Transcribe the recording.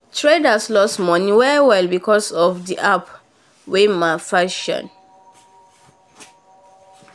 um trader um lost money well well because of um the app wen malfunction